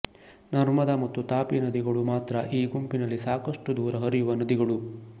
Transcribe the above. ನರ್ಮದಾ ಮತ್ತು ತಾಪಿ ನದಿಗಳು ಮಾತ್ರ ಈ ಗುಂಪಿನಲ್ಲಿ ಸಾಕಷ್ಟು ದೂರ ಹರಿಯುವ ನದಿಗಳು